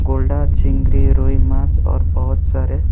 गोल्डा चिंगरी रोही माछ और बहुत सारे।